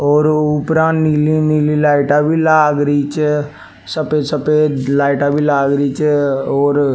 और ऊपरा नीली नीली लाइटा भी लाग री छ सफ़ेद सफ़ेद लाइटा भी लाग री छ और--